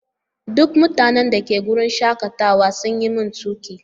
Duk mutanen da ke wurin shakatawa sun yi min tuƙi.